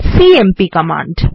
CMP command